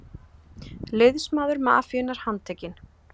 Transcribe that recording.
Liðsmaður mafíunnar handtekinn